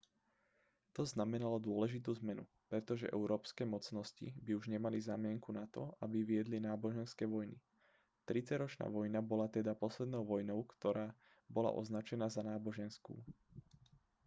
to znamenalo dôležitú zmenu pretože európske mocnosti by už nemali zámienku na to aby viedli náboženské vojny tridsaťročná vojna bola teda poslednou vojnou ktorá bola označená za náboženskú